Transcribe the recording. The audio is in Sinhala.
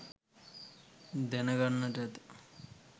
දැන ගන්නට ඇත.